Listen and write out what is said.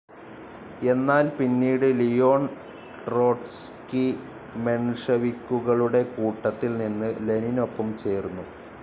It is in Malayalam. എന്നാൽ പിന്നീട് ലിയോൺ ട്രോട്സ്കി മെൻഷെവിക്കുകളുടെ കൂട്ടത്തിൽ നിന്ന് ലെനിനൊപ്പം ചേർന്നു.